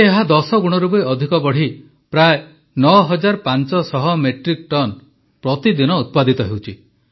ଏବେ ଏହା ଦଶଗୁଣରୁ ବି ଅଧିକ ବଢ଼ି ପ୍ରାୟ ପ୍ରାୟ 9500 ମେଟ୍ରିକ୍ ଟନ ପ୍ରତିଦିନ ଉତ୍ପାଦିତ ହେଉଛି